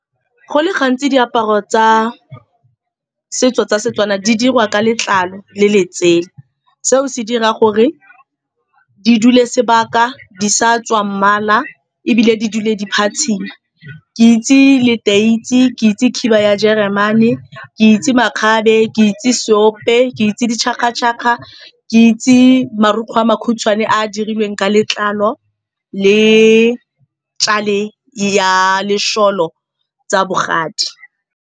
Go le gantsi, diaparo tsa setso tsa Setswana di diriwa ka letlalo le letsela. Seo se dira gore di dule sebaka di sa tswa mmala, ebile di dule di phatsima. Ke itse leteisi, ke itse khiba ya Jeremane, ke itse makgabe, ke itse seope, ke itse di chaka-chaka, ke itse marukgwe a makhutshwane a dirilweng ka letlalo le ya lesholo tsa bogadi.